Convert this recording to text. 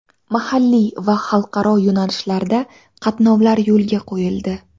Mahalliy va xalqaro yo‘nalishlarda qatnovlar yo‘lga qo‘yildi.